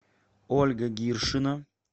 ольга гиршина